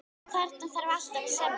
Þarna þarf alltaf að semja.